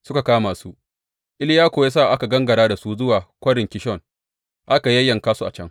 Suka kama su, Iliya kuwa ya sa aka gangara da su zuwa Kwarin Kishon, aka yayyanka su a can.